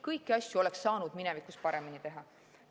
Kõiki asju oleks saanud minevikus paremini teha.